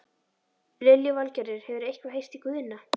Lillý Valgerður: Hefurðu eitthvað heyrt í Guðna?